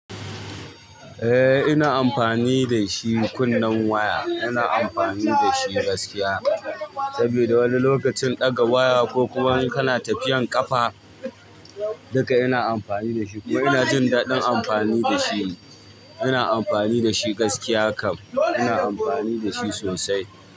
Eh ina amfani da shi kunnen waya. Ina amfani da shi gaskiya, saboda wani lokacin ɗaga waya ko kuwa in kana tafiyan ƙafa duk ina amfani da shi. Ina jin daɗin amfani da shi. Ina amfani da shi gaskiya kam. Ina amfani da shi sosai.